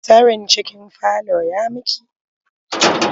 Tsarin cikin falon ya miki?